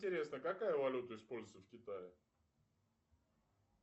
интересно какая валюта используется в китае